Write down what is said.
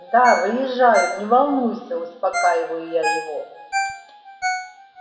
да выезжаю не волнуйся успокаиваю я его